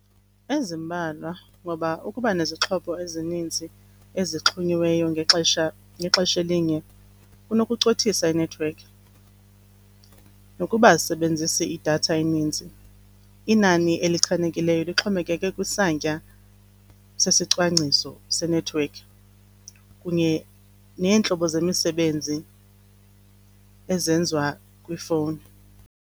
Ezimbalwa ngoba ukuba nezixhobo ezininzi ezixhonyiweyo ngexesha, ngexesha elinye kunokucothisa inethiwekhi. Nokuba azisebenzisi idatha eninzi, inani elichanekileyo lixhomekeke kwisantya sesicwangciso senethiwekhi kunye neentlobo zemisebenzi ezenziwa kwifowuni.